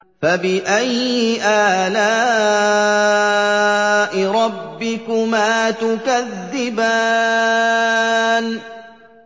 فَبِأَيِّ آلَاءِ رَبِّكُمَا تُكَذِّبَانِ